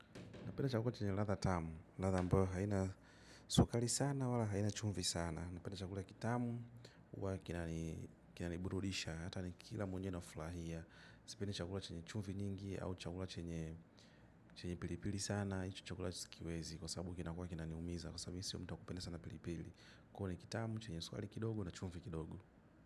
Napenda chakula chenye latha tamu, latha ambayo haina sukali sana wala haina chumfi sana. Napenda chakula kitamu wa kinani burudisha hata ni kila mwenyewe na flahia. Sipendi chakula chenye chumvi nyingi au cakula chenye pilipili sana. Hichi chakula sikiwezi kwa sababu kinakuwa kinaniumiza kwa sababu mi sio mtu wa kupenda sana pilipili. Kwa ni kitamu, chenye sukali kidogo na chumfi kidogo.